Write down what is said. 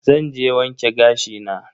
Zan je wanke gashi na.